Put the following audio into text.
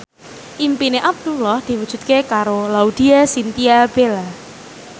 impine Abdullah diwujudke karo Laudya Chintya Bella